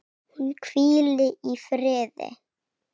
Hún hvíli í friði.